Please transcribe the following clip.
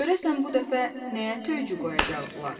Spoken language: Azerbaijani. Görəsən bu dəfə nəyə töycü qoyacaqdılar?